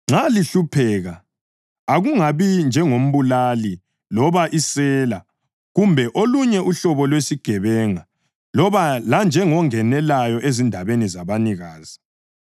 Nxa lihlupheka, akungabi njengombulali loba isela kumbe olunye uhlobo lwesigebenga loba lanjengongenelayo ezindabeni zabanikazi.